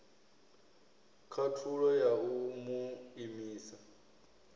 khathulo ya u mu imisa